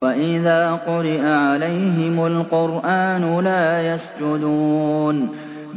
وَإِذَا قُرِئَ عَلَيْهِمُ الْقُرْآنُ لَا يَسْجُدُونَ ۩